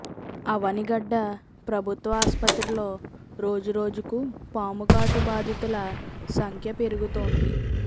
అవనిగడ్డ ప్రభుత్వ ఆస్పత్రిలో రోజు రోజుకు పాము కాటు బాధితుల సంఖ్య పెరుగుతోంది